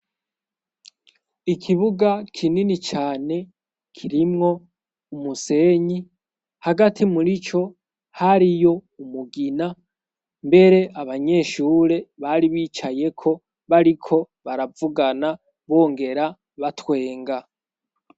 ikibuga kinini cane kirimwo umusenyi hagati muri co hariyo umugina mbere abanyeshure bari bicaye ko bariko baravugana bongera batwenga